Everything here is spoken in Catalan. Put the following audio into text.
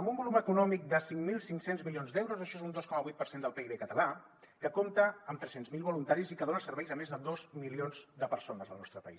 amb un volum econòmic de cinc mil cinc cents milions d’euros això és un dos coma vuit per cent del pib català que compta amb tres cents miler voluntaris i que dona serveis a més de dos milions de persones al nostre país